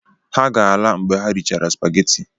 Ha ga-ala mgbe ha richara Spageti